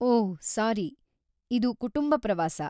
ಓಹ್‌ sorry, ಇದು ಕುಟುಂಬ ಪ್ರವಾಸ.